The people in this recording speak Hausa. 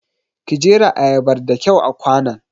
Ki jera ayabar da kyau a kwanon!